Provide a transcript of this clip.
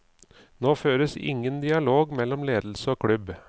Nå føres ingen dialog mellom ledelse og klubb.